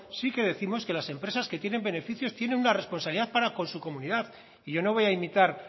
sí que décimos que las empresas que tienen beneficios tienen una responsabilidad para con su comunidad y yo no voy a imitar